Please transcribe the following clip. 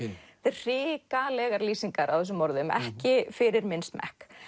hrikalegar lýsingar á þessum morðum ekki fyrir minn smekk